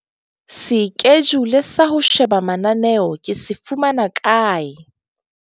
Sekejule sa ho sheba mananeo ke se fumana kae?